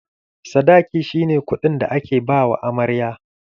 Sadaki shi ne kuɗin da ake ba wa amarya.